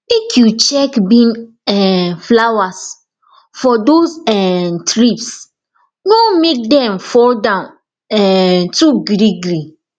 make you check bean um flowers for those um thrips no make dem fall down um too greegree